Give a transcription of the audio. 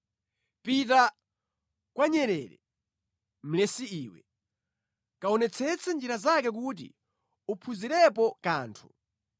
Pita kwa nyerere, mlesi iwe; kaonetsetse njira zake kuti uphunzirepo kanthu!